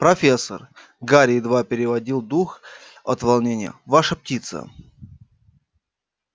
профессор гарри едва переводил дух от волнения ваша птица